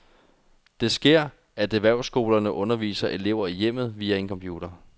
Det sker, at erhvervsskolerne underviser elever i hjemmet via en computer.